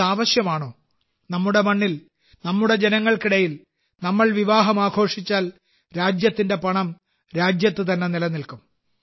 ഇത് ആവശ്യമാണോ നമ്മുടെ മണ്ണിൽ നമ്മുടെ ജനങ്ങൾക്കിടയിൽ നമ്മൾ വിവാഹങ്ങൾ ആഘോഷിച്ചാൽ രാജ്യത്തിന്റെ പണം രാജ്യത്ത് തന്നെ നിലനിൽക്കും